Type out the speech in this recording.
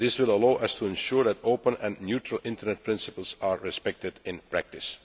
This will allow us to ensure that open and neutral internet principles are respected in practice.